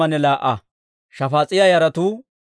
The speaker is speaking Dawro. Araaha yaratuu 652.